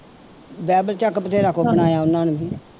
ਬਥੇਰਾ ਬਣਾਇਆ ਉਹਨਾਂ ਨੇ